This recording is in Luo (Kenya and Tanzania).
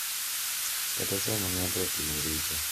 Kata sama ng’ato otimo richo.